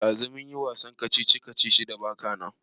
Ɗazu mu kayi wasan kacici-kacici da baka nan.